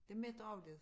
Det mætter også lidt